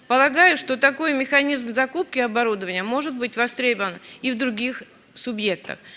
полагаю что такой механизм в закупке оборудования может быть востребован и в других субъектов